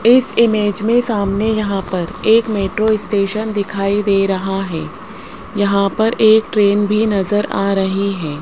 इस इमेज में सामने यहां पर एक मेट्रो स्टेशन दिखाई दे रहा है यहां पर एक ट्रेन भी नजर आ रही है।